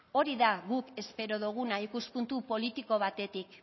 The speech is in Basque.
hori da guk espero doguna ikuspuntu politiko batetik